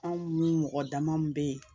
Anw ni mɔgɔ dama min bɛ yen